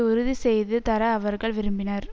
உறுதி செய்து தர அவர்கள் விரும்பினர்